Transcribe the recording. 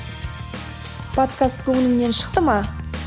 подкаст көңіліңнен шықты ма